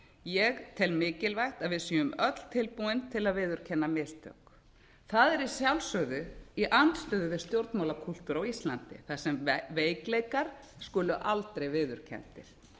ég tel mikilvægt að við séum öll tilbúin til að viðurkenna mistök það er að sjálfsögðu í andstöðu við stjórnmálakúltúr á íslandi þar sem veikleikar skulu aldrei viðurkenndir